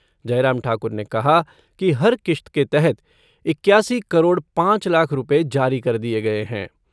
जयराम ठाकुर ने कहा कि हर किश्त के तहत इक्यासी करोड़ पाँच लाख रुपये जारी कर दिए गए है।